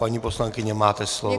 Paní poslankyně, máte slovo.